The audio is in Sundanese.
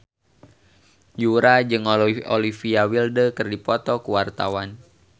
Yura jeung Olivia Wilde keur dipoto ku wartawan